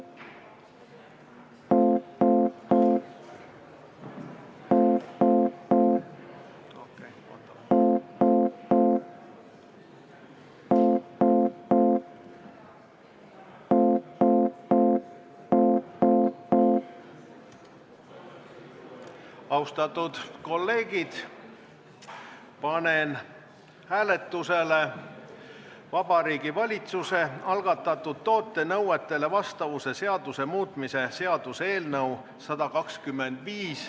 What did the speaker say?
Austatud kolleegid, panen hääletusele Vabariigi Valitsuse algatatud toote nõuetele vastavuse seaduse muutmise seaduse eelnõu .